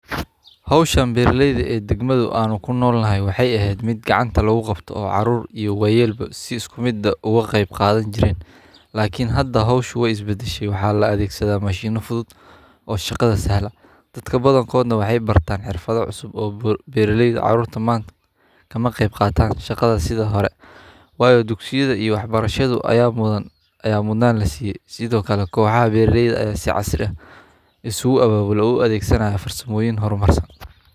Hishan beera leyda anndagmaada an kunolnoho waxaa waye mid gacanta lagu qabto lakin hada hosho wey isbadashe maxaa la isticmala mashin wayo dugsiyaada aya ardeyda lagaliyey sas waye.